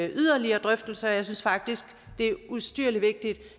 yderligere drøftelse og jeg synes faktisk det er ustyrlig vigtigt